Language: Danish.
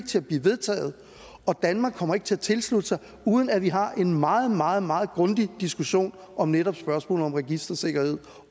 til at blive vedtaget og danmark ikke kommer til at tilslutte sig uden at vi har en meget meget meget grundig diskussion om netop spørgsmålet om registersikkerhed